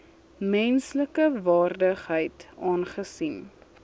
menslike waardigheid aangesien